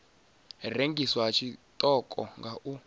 rengiswa ha tshiṱoko nga u